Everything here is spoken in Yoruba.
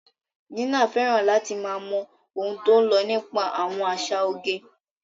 Gina fẹ́ràn láti máa mọ ohun tó ń lọ nípa àwọn àṣà oge.